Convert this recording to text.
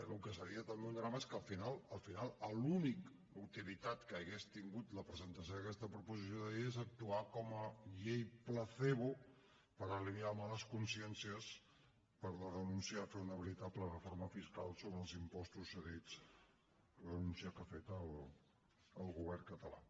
el que seria també un drama és que al final al final l’única utilitat que hauria tingut la presentació d’aquesta proposició de llei és actuar com a llei placebo per alleujar males consciències per la renúncia a fer una veritable reforma fiscal sobre els impostos cedits renúncia que ha fet el govern català